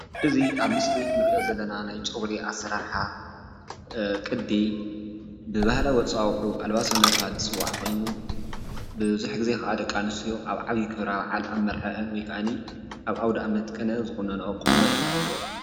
እዚ ኣብ ምስሊ እንሪኦ ዘለና ናይ ጨጉሪ ኣሰራርሓ ቅዲ ብባህላዊ ኣፀዋውዕኡ ኣልባሶ እናተብሃለ ዝፅዋዕ ኮይኑ ቡዙሕ ግዜ ደቂ ኣንስትዮ ኣብ ዓብዪ ክብረ ብዓል ፣ ኣብ መርዕአን ወይ ክዓኒ ኣብ ኣዉደኣመት ቅነ ዝቑነንኦ ቁኖ እዩ።